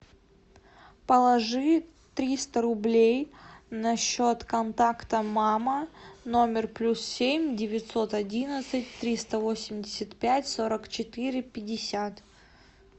положи триста рублей на счет контакта мама номер плюс семь девятьсот одиннадцать триста восемьдесят пять сорок четыре пятьдесят